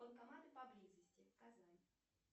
банкоматы поблизости казань